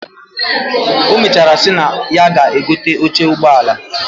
Omechara si na ya ga egote oche ugbọ ala